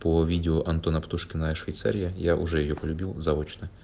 о видео антона птушкина швейцария я уже её полюбил заочно